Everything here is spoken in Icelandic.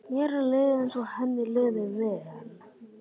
Mér leið eins og henni liði vel.